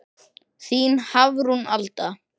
Þín Hafrún Alda.